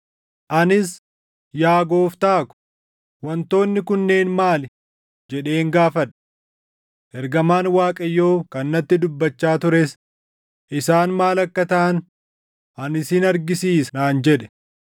Anis, “Yaa gooftaa ko, wantoonni kunneen maali!” jedheen gaafadhe. Ergamaan Waaqayyoo kan natti dubbachaa tures, “Isaan maal akka taʼan ani sin argisiisa” naan jedhe.